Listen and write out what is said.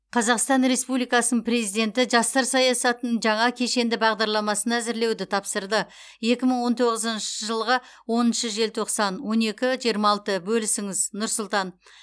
қазақстан республикасының президенті жастар саясатының жаңа кешенді бағдарламасын әзірлеуді тапсырды екі мың он тоғызыншы жылғы оныншы желтоқсан он екі жиырма алты бөлісіңіз нұр сұлтан